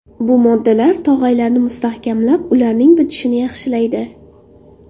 Bu moddalar tog‘aylarni mustahkamlab, ularning bitishini yaxshilaydi.